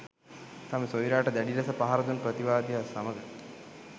තම සොයුරාට දැඩි ලෙස පහර දුන් ප්‍රතිවාදියා සමග